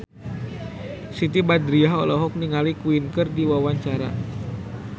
Siti Badriah olohok ningali Queen keur diwawancara